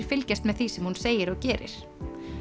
fylgjast með því sem hún segir og gerir